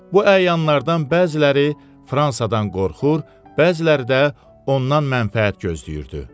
Bu əyanlardan bəziləri Fransadan qorxur, bəziləri də ondan mənfəət gözləyirdi.